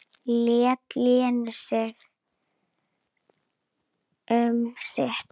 Lét Lenu um sitt.